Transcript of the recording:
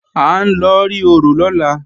À ń lọ rí orò lọ́la